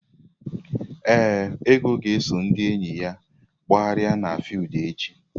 Ee, Ego ga-eso ndị enyi ya gbagharịa n'fiudu echi.